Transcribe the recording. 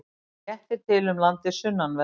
Léttir til um landið sunnanvert